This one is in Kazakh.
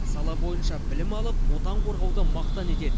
сала бойынша білім алып отан қорғауды мақтан етеді